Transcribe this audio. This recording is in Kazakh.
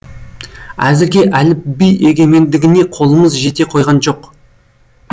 әзірге әліпби егемендігіне қолымыз жете қойған жоқ